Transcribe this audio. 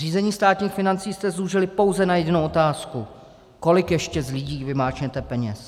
Řízení státních financí jste zúžili pouze na jedinou otázku: Kolik ještě z lidí vymáčknete peněz?